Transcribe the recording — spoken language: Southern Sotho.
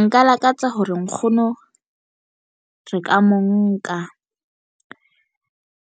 Nka lakatsa hore nkgono re ka mo nka